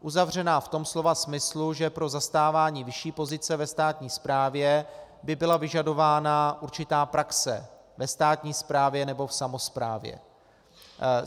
Uzavřená v tom slova smyslu, že pro zastávání vyšší pozice ve státní správě by byla vyžadována určitá praxe ve státní správě nebo v samosprávě.